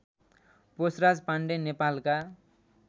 पोषराज पाण्डे नेपालका